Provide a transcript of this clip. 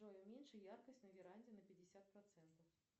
джой уменьши яркость на веранде на пятьдесят процентов